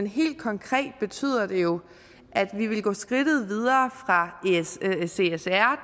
helt konkret betyder det jo at vi ville gå skridtet videre fra csr